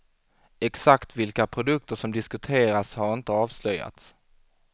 Exakt vilka produkter som diskuteras har inte avslöjats.